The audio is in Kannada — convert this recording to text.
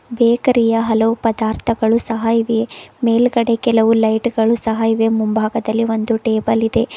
ಬೇಕರಿ ಯ ಹಲವು ಪದಾರ್ಥಗಳು ಸಹ ಇವೆ ಮೇಲ್ಗಡೆ ಕೆಲವು ಲೈಟು ಗಳು ಸಹ ಇವೆ ಮುಂಭಾಗದಲ್ಲಿ ಒಂದು ಟೇಬಲ್ ಇದೆ.